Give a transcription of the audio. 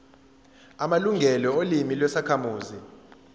amalungelo olimi lwezakhamuzi